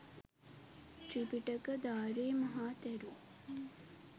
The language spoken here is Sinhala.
ත්‍රිපිටකධාරී මහා තෙරුන්